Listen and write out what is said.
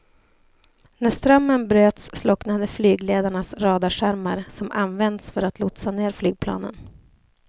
När strömmen bröts slocknade flygledarnas radarskärmar som används för att lotsa ner flygplanen.